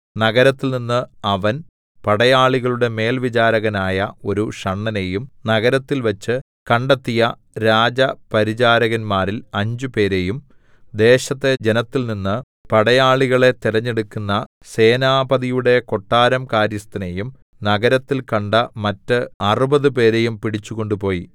നഗരത്തിൽനിന്ന് അവൻ പടയാളികളുടെ മേൽവിചാരകനായ ഒരു ഷണ്ഡനെയും നഗരത്തിൽവെച്ച് കണ്ടെത്തിയ രാജപരിചാരകന്മാരിൽ അഞ്ചുപേരെയും ദേശത്തെ ജനത്തിൽനിന്ന് പടയാളികളെ തെരഞ്ഞെടുക്കുന്ന സേനാപതിയുടെ കൊട്ടാരം കാര്യസ്ഥനെയും നഗരത്തിൽ കണ്ട മറ്റ് അറുപതുപേരെയും പിടിച്ചു കൊണ്ടുപോയി